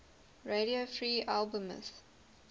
radio free albemuth